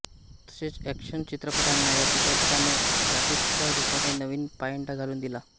तसेच ऍकशन चित्रपटांना या चित्रपटाने ग्राफिक्सच्या रुपाने नवीन पायंडा घालून दिला